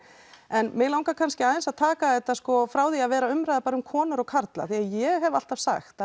en mig langar aðeins að taka þetta frá því að vera umræða um bara konur og karla því ég hef alltaf sagt